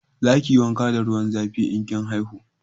Za ki yi wanka da ruwan zafi in kin haihu